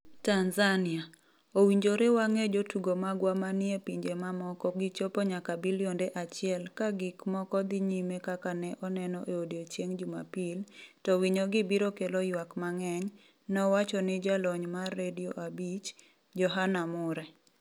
Tanzania: Owinjore wang'e jotugo magwa ma ni e pinje ma moko 'Gichopo nyaka bilionde achiel' "Ka gik moko dhi nyime kaka ne oneno e odiechieng' Jumapil, to winyogi biro kelo ywak mang'eny," nowacho ni Jalony mar Radio 5 , Johana Mure.